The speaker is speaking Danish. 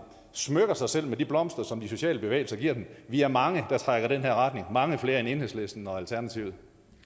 smykker sig selv med de blomster som de sociale bevægelser giver dem vi er mange der trækker i den her retning mange flere end enhedslisten og alternativet